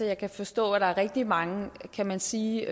jeg kan forstå at der er rigtig mange kan man sige